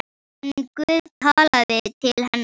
En Guð talaði til hennar.